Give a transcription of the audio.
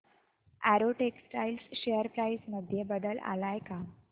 Arrow textiles share price मध्ये बदल आलाय का